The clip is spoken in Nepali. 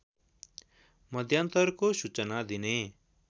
मध्यान्तरको सूचना दिने